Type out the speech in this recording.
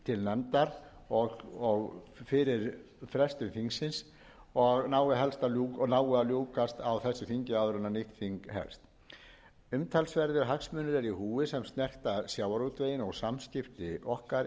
nefndar og fyrir frestun þingsins og nái að ljúkast á þessu þingi áður en nýtt þing hefst umtalsverðir hagsmunir eru í húfi og snerta samskipti okkar innan e e